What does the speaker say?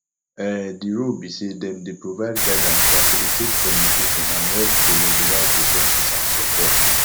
um di role be say dem dey provide guidance facilitate communication and help to mobilize resources and support